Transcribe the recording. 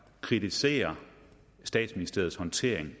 kritiserer statsministeriets håndtering